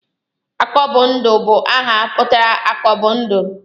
Akọbụndụ bụ aha pụtara 'akọ bụ ndụ'